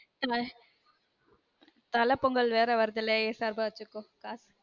தல தல பொங்கல் வேற வருதுல ஏன் சார்பா வெச்சுக்கோ காசு